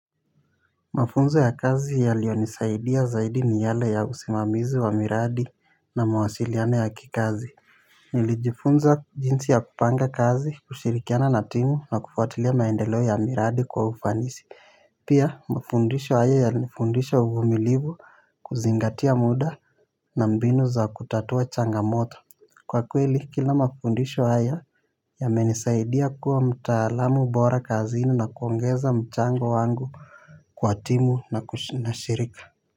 Mafunzo ya kazi yalionisaidia zaidi ni yale ya usimamizi wa miradi na mawasiliano ya kikazi. Nilijifunza jinsi ya kupanga kazi kushirikiana na timu na kufuatilia maendeleo ya miradi kwa ufanisi. Pia mafundisho haya yalinifundisha uvumilivu. Kuzingatia muda na mbinu za kutatua changamoto kwa kweli kila mafundisho haya yamenisaidia kuwa mtaalamu bora kazini na kuongeza mchango wangu kwa timu na kushi na shirika.